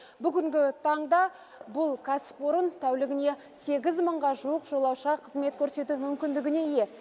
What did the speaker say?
бүгінгі таңда бұл кәсіпорын тәулігіне сегіз мыңға жуық жолаушыға қызмет көрсету мүмкіндігіне ие